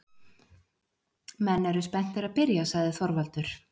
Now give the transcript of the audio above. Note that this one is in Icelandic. Menn eru spenntir að byrja, sagði Þorvaldur.